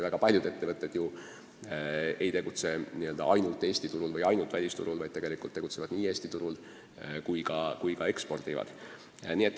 Väga paljud meie ettevõtted ei tegutse ainult Eesti või välisturul, vaid tegutsevad nii Eesti turul kui ka ekspordivad.